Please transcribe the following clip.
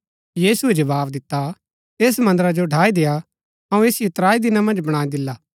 यीशुऐ जवाव दिता ऐस मन्दरा जो ढ़ाई देआ अऊँ ऐसिओ त्राई दिना मन्ज बणाई दिला